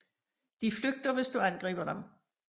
De flygter hvis du angriber dem